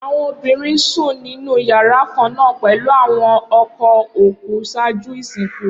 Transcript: Awọn obinrin sun ninu yara kanna pẹlu awọn ọkọ oku ṣaaju isinku.